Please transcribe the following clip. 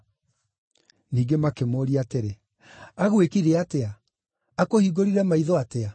Ningĩ makĩmũũria atĩrĩ, “Agwĩkire atĩa? Akũhingũrire maitho atĩa?”